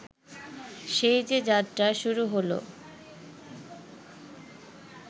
সেই যে যাত্রা শুরু হল